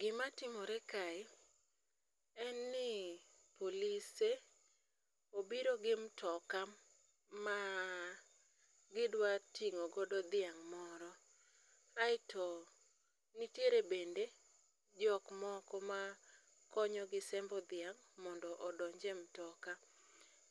Gimatimore kae, en ni polise obiro gi mtoka ma gidwa ting'o godo dhiang' moro, aeto nitiere bende jok moko ma konyogi sembo dhiang' mondo odonj e mtoka.